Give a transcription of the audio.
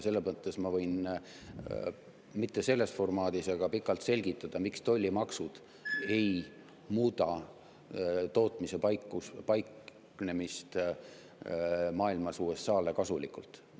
Selles mõttes ma võin – mitte küll selles formaadis – pikalt selgitada, miks tollimaksud ei muuda tootmise paiknemist maailmas USA-le kasulikult.